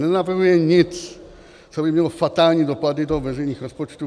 Nenapravuje nic, co by mělo fatální dopady do veřejných rozpočtů.